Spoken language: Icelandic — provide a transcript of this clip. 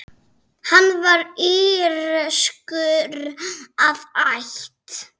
Hann var írskur að ætt.